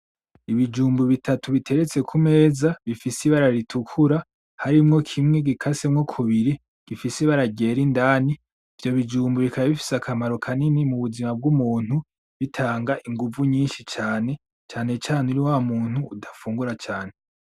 Ibijumbu bittatu biteretse kumeza bifise ibara ritukura harimwo kimwe gikasemwo kubiri gifise ibara ryera indani ivyo bijumbu bikaba bifise akamaro kanini mubuzima bwumuntu bitanga inguvu nyinshi cane , cane cane uri wamuntu udafungura cane .